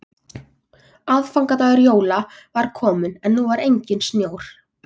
Aðfangadagur jóla var kominn en nú var enginn snjór.